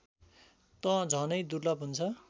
त झनै दुर्लभ हुन्छ